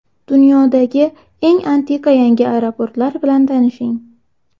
Dunyodagi eng antiqa yangi aeroportlar bilan tanishing.